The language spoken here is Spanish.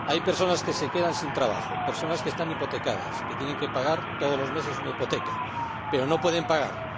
Hay personas que se quedan sin trabajo, personas que están hipotecadas, que tienen que pagar todos los meses una hipoteca y no pueden pagarla